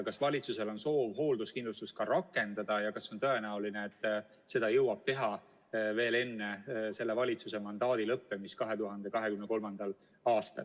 Kas valitsusel on soov hoolduskindlustus ka rakendada ja kas on tõenäoline, et seda jõuab teha veel enne selle valitsuse mandaadi lõppemist 2023. aastal?